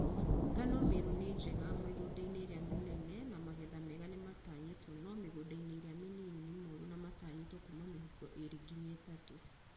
Ngano Meru nĩ njega mĩgũnda-inĩ ĩrĩa mĩnene na magetha mega nĩmatanyĩtwo no mĩgũnda-inĩ ĩrĩa mĩnini nĩ moru na matanyĩtwo kuuma mĩhuko ĩĩrĩ nginya ĩtatũ